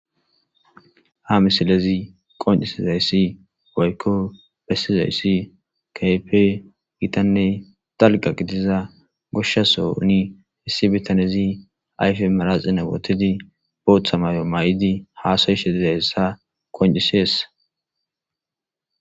Ha misilezi qoncisizayssi gaykko bessizayssi kaype gitanney dalga qitiza goshshasoni hissi bitanezi ayfe maraxine wotidi booththa mayo may'idi haasayishedizayessa qoncisessa.